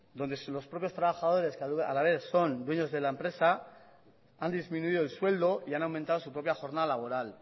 donde los propios trabajadores que a la vez son dueños de la empresa han disminuido el sueldo y han aumentado su propia jornada laboral